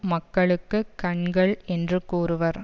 மக்களுக்கு கண்கள் என்று கூறுவர்